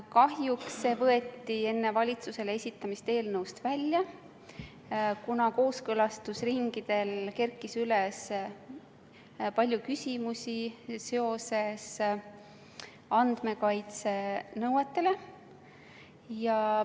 Kahjuks see muudatus võeti enne valitsusele esitamist eelnõust välja, kuna kooskõlastusringidel kerkis üles palju küsimusi seoses andmekaitsenõuetega.